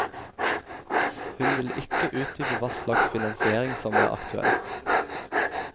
Hun vil ikke utdype hva slags finansiering som er aktuell.